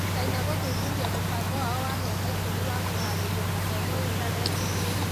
Chaina gũthuthuria mũbango wao wa mĩaka ikũmi wa kũharĩria mathomo intaneti-inĩ.